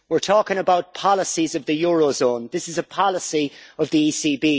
We're talking about policies of the eurozone this is a policy of the ECB.